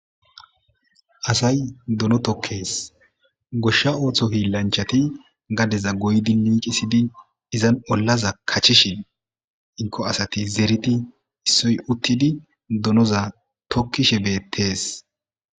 asay dono tokkees goshsha ooththo hi lanchati gadeza goydi miiqisidi izan ollaza kachishin inko asati zeriti issoy uttidi donoza tokkishe beettees